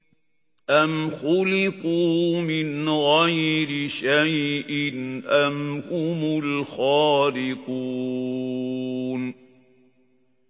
أَمْ خُلِقُوا مِنْ غَيْرِ شَيْءٍ أَمْ هُمُ الْخَالِقُونَ